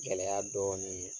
Gɛlɛya dɔɔnin ye